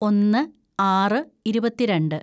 ഒന്ന് ആറ് ഇരുപത്തിരണ്ട്‌